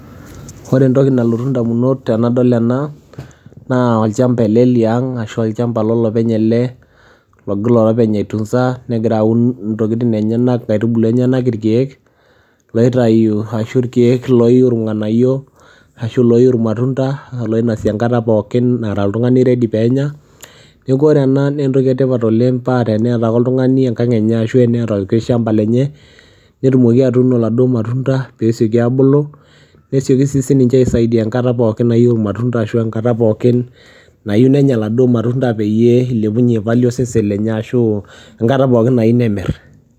Ore entoki nalotu indamunot tenadol ena naa olchamba ele liang' ashu olchamba lolopeny ele logira olopeny aitunza, negira aun intokitin enyenak inkaitubulu enyenak, irkeek loitayu ashu irkeek looyiu irng'anayio ashu looyiu irmatunda loinasi enkata pookin nara oltung'ani ready peenya. Neeku ore ena nee entoki e tipat oleng' paa teneeta ake oltung'ani enkang' enye ashu eneeta olikai shamba lenye netumoki atuuno iladuo matunda peesioki aabulu, nesioki sii sininche aisaidia enkata pookin nayeu irmatunda ashu enkata pookin nayiu nenya iladuo matunda peyie ilepunye value osesen lenye ashu enkata pookin nayeu nemir.